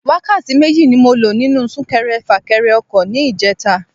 Wákàtí méjì ni mo lo nínú Sún-kẹrẹ-fà-kẹrẹ ọkọ̀ ní ìjeta